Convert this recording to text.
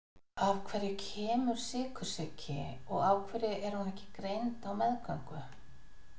Af hverju kemur sykursýki og af hverju er hún ekki greind á meðgöngu?